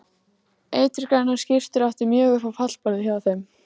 Eiturgrænar skyrtur áttu mjög upp á pallborðið hjá þeim.